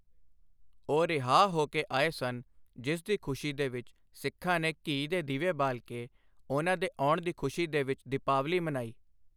ਉਹ ਰਿਹਾਅ ਹੋ ਕੇ ਆਏ ਸਨ ਜਿਸ ਦੀ ਖੁਸ਼ੀ ਦੇ ਵਿੱਚ ਸਿੱਖਾਂ ਨੇ ਘੀ ਦੇ ਦੀਵੇ ਬਾਲ ਕੇ ਉਨ੍ਹਾਂ ਦੇ ਆਉਣ ਦੀ ਖੁਸ਼ੀ ਦੇ ਵਿੱਚ ਦੀਪਾਵਲੀ ਮਨਾਈ।